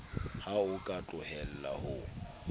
ha o ka tlohella ho